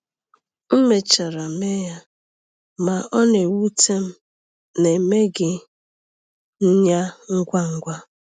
M mechara mee ya, ma ọ na-ewute m na emeghị m ya ngwa ngwa.